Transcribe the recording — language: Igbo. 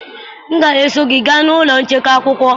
M ga-eso gị gaa n'ụlọ nchekwa akwụkwọ.